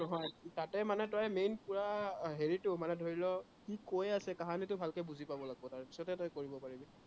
তাতে মানে তই main পোৰা হেৰিটো, মানে ধৰি ল, সি কৈ আছে কাহিনীটো ভালকে বুজি পাব লাগিব। তাৰপিছত হে তই কৰিব পাৰিবি।